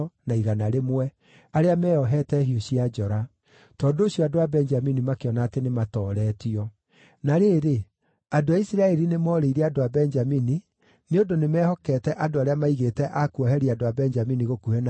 Tondũ ũcio andũ a Benjamini makĩona atĩ nĩmaatooretio. Na rĩrĩ, andũ a Isiraeli nĩmoorĩire andũ a Benjamini, nĩ ũndũ nĩmehokete andũ arĩa maigĩte a kuoheria andũ a Benjamini gũkuhĩ na Gibea.